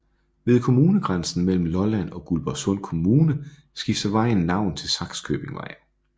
Ved kommunegrænsen mellem Lolland og Guldborgsund Kommune skifter vejen navn til Sakskøbingvej